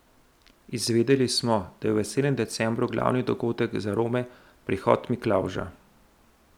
Izvedeli smo, da je v veselem decembru glavni dogodek za Rome prihod Miklavža.